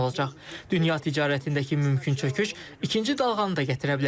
Dünya ticarətindəki mümkün çöküş ikinci dalğanı da gətirə bilər.